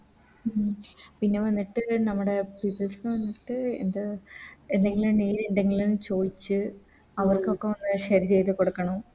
ഉം പിന്നെ വന്നിട്ട് നമ്മുടെ വന്നിട്ട് ഇത് എന്തെങ്കിലും Need ഇണ്ടെങ്കില്ന്ന് ചോദിച്ച് അവർക്കൊക്കെ ഒന്ന് Share ചെയ്ത കൊടുക്കണം